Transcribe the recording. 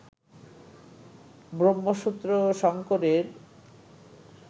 ব্রহ্মসূত্র ও শঙ্করের